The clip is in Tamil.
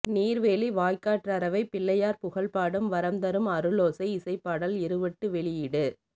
நீர்வேலி வாய்க்காற்றரவைப் பிள்ளையார் புகழ் பாடும் வரம்தரும் அருளோசை இசைப் பாடல் இறுவட்டு வெளியீடு